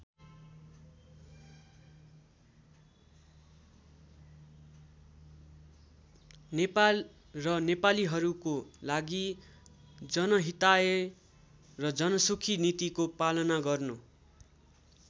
नेपाल र नेपालीहरूको लागि जनहिताय र जनसुखी नीतिको पालन गर्नु।